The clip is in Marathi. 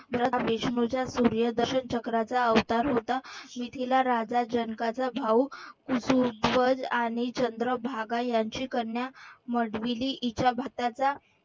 भरत विष्णूच्या पुर्वीचक्राचा अवतार होता मिथिला राजा जनकाचा भाऊ आणि चंद्रभागा यांची कन्या हिच्या